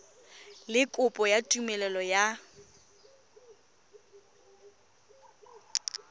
le kopo ya tumelelo ya